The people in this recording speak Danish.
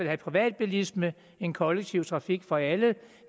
have privatbilisme end kollektiv trafik for alle